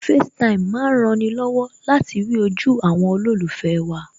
FaceTime má ń rani lọ́wọ́ láti rí ojú àwọn olólùfẹ́ wa